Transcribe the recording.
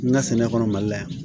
N ka sɛnɛ kɔnɔ mali la yan